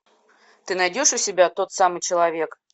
ты найдешь у себя тот самый человек